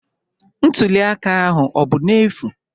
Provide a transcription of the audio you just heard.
Ntuli aka ahụ ọ bụ n'efu?